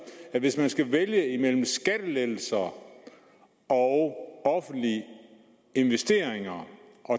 at hvis man skal vælge imellem skattelettelser og offentlige investeringer